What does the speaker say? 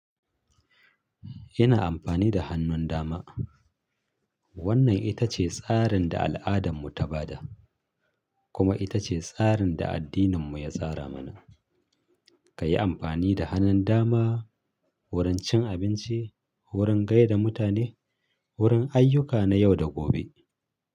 Ina amfani da hannun dama. Wannan ita ce tsarin da al'adanmu ta ba da, kuma ita ce tsarin da addininmu ya tsara mana. Kayi amfani da hannun dama, wurin cin abinci, wurin gaida mutane, wurin ayyuka na yau da gobe.